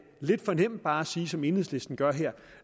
lidt for nemt bare at sige som enhedslisten gør her